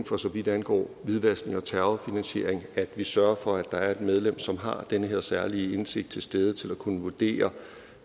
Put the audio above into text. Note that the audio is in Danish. for så vidt angår hvidvaskning og terrorfinansiering at vi sørger for at der er et medlem som har den her særlige indsigt til stede til at kunne vurdere